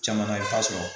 Caman na i bɛ t'a sɔrɔ